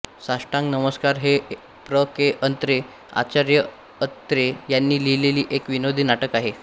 साष्टांग नमस्कार हे प्र के अत्रे आचार्य अत्रे यांनी लिहिलेले एक विनोदी नाटक आहे